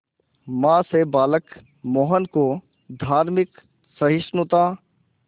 मां से बालक मोहन को धार्मिक सहिष्णुता